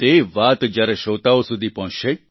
તે વાત જ્યારે શ્રોતાઓ સુધી પહોંચશે